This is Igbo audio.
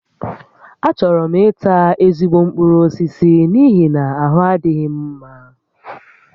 Achọrọ m ita ezigbo mkpụrụ osisi n'ihi na ahụ adịghị m mma